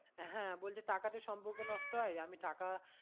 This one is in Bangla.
হ্যাঁ বলছে টাকা তে সম্পর্ক নষ্ট হয় আমি টাকা